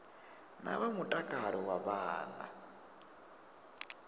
na vha mutakalo wa vhana